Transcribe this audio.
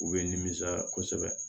U bɛ nimisaya kosɛbɛ